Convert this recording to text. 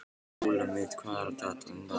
Súlamít, hvað er á dagatalinu í dag?